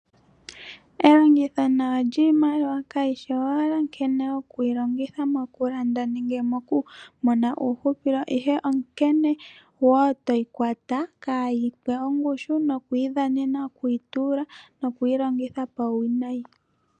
Elongitho nawa lyiimaliwa kayishi owala okuyi longitha mokulanda nenge mokumona uuhupilo, ihe onkene wo toyi kwata kaa yi pwe ongushu nokuyidhanena, okuyi tuula noku yi longitha pauwinayi.